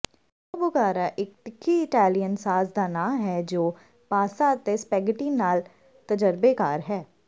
carbonara ਇਕ ਤਿੱਖੀ Italian sauce ਦਾ ਨਾਂ ਹੈ ਜੋ ਪਾਸਤਾ ਅਤੇ ਸਪੈਗੇਟੀ ਨਾਲ ਤਜਰਬੇਕਾਰ ਹੈ